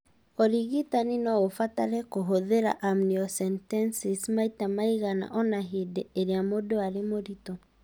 Ũrigitani no ũbatare kũhũthĩra amniocentesis maita maigana ũna hĩndĩ ĩrĩa mũndũ arĩ mũritũ.